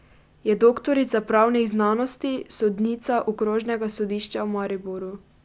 Je doktorica pravnih znanosti, sodnica Okrožnega sodišča v Mariboru.